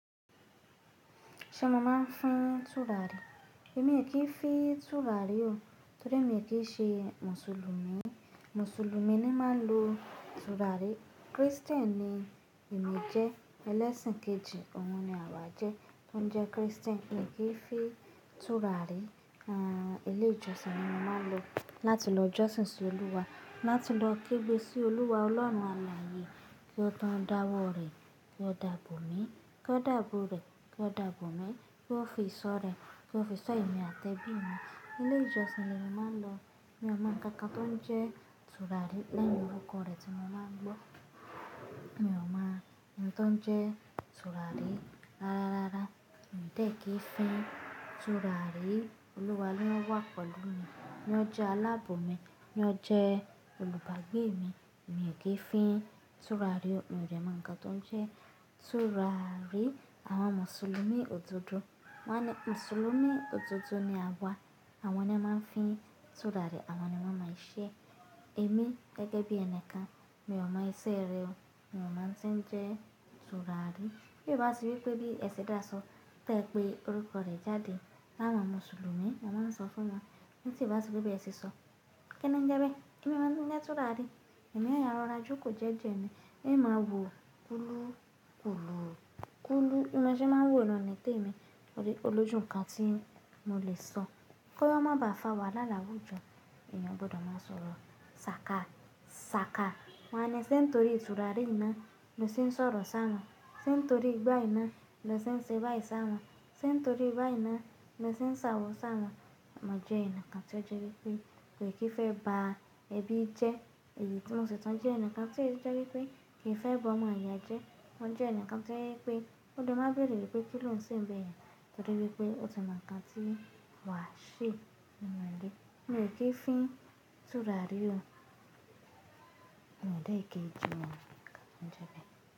Ṣé mo máa ń fín tùràrí? Èmi ò kí ń fi tùràrí o, torí èmi ò kí ń ṣe mùsùlùmí. Mùsùlùmí ni máa ń lo tùràrí. Kristẹni èmi jẹ́, ẹlẹ́sìn kejì, òun ni àwa jẹ́, tó ń jẹ́ Kristẹni. Èmi ò kí ń fi tùràrí. Àn, ilé ìjọsìn ni mo máa ń lọ láti lọ jọ́sìn sí Olúwa, láti lọ kéde sí Olúwa Ọlọ́run àlàyé kí ó tó dáwọ́ rẹ̀ kí ó dàbọ̀ mí, kí ó dàbọ̀ rẹ̀ kí ó dàbọ̀ mí, kí ó fi ìṣọ́ rẹ̀ kí ó fi ìṣọ́ èmi àti ẹbí mi. Ilé ìjọsìn ni mo máa ń lọ, mi ò mọ́ nkankan tó ń jẹ́ tùràrí láàárín orúkọ rẹ̀ tí mo máa ń gbọ́. Mi ò mọ́ ohun tó ń jẹ́ tùràrí. Rárá, rárá, òǹdè kì í fi tùràrí. Olúwa ló wà pẹ̀lú mi, ló jẹ́ alábò mí, ló jẹ́ olùbágbé mi. Èmi ò kí ń fi tùràrí o. Èmi ò rẹ́ mọ́ nǹkan tó ń jẹ́ tùràrí. Àwọn mùsùlùmí òdodo, wọ́n ni mùsùlùmí òdodo ni a wà, àwọn ni a máa ń fi tùràrí, àwọn ni wọ́n máa ń ṣe èmi gẹ́gẹ́ bí ẹni kan, mi ò mọ iṣẹ́ rẹ̀ o. Mi ò mọ̀ tí ń jẹ́ tùràrí. Bí ó bá ti wí pé bí ẹ ṣe dá sọ, tẹ́ pé orúkọ rẹ̀ jáde láwọn mùsùlùmí, mo máa sọ fún wọn ní tí ì bá ti wí pé ẹ ṣì sọ, kí ni ń jẹ́ pé? Èmi máa ń jẹ́ tùràrí. Èmi yóò yara jú kù jẹ́jẹ́ mi. Èmi máa wò kùlú, kùlú, kùlú. Ìmu ṣe máa ń wò ló ni témi. Ó rí, olójú nǹkan tí mo lè sọ. Kí ó má ba à fà wàhálà lábú jọ, èèyàn gbọ́dọ̀ máa sọ̀rọ̀ sákà, sákà. Wọ́n ni sé torí tùràrí iná ni o ṣe ń sọ̀rọ̀ sá wọn, sé torí gbá iná ni o ṣe ń ṣe bá ẹ̀ sá wọn, sé torí ba yi ná ni o ṣe ń ṣo awọ̀ sá wọn. Mo jẹ́ ẹnì kan tí ó jẹ́ wípé, kò kí ń fẹ́ bá ẹbí jẹ́ èyí tí mo ṣẹ̀ tọ́ ń jẹ́ ẹnì kan tí ó jẹ́ wípé, kì í fẹ́ bá ọmọ ìyá jẹ́. Mo jẹ́ ẹnì kan tí ó jẹ́ wípé, ó má béèrè pé kí ló ń ṣe ni bẹ́ yen, torí wípé ó tàn mọ́ ǹkan tí wàá se ninu ilebèmi ò kí ń fi tùràrí o. Òǹdè kì í ju òun kan, kí ni ń jẹ́ pé?